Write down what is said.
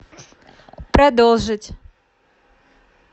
продолжить